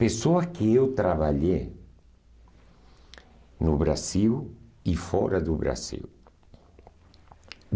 Pessoas que eu trabalhei no Brasil e fora do Brasil.